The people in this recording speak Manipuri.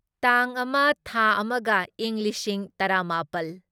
ꯇꯥꯡ ꯑꯃ ꯊꯥ ꯑꯃꯒ ꯢꯪ ꯂꯤꯁꯤꯡ ꯇꯔꯥꯃꯥꯄꯜ